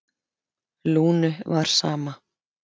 Lúnu var sama.